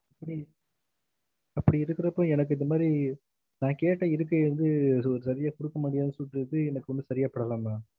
அப்டி இருக்குறப்ப எனக்கு இந்த மாறி நான் கேட்ட இதுக்கு வந்து ஒரு சரியான குடுக்க முடியாது சொன்னது எனக்கு செரியா படல maam